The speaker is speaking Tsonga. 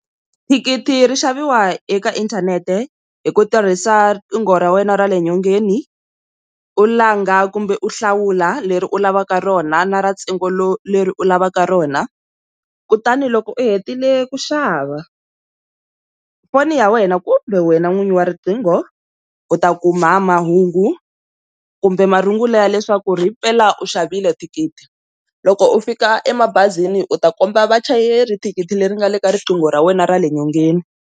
Thikithi ri xaviwa eka inthanete hi ku tirhisa riqingho ra wena ra le nyongeni u langa kumbe u hlawula leri u lavaka rona na ra ntsengo lowu leri u lavaka rona kutani loko u hetile ku xava, foni ya wena kumbe wena n'winyi wa riqingho u ta kuma mahungu kumbe marungulo ya leswaku ri hi mpela u xavile thikithi loko u fika emabazini u ta komba vachayeri thikithi leri nga le ka riqingho ra wena ra le nyongeni.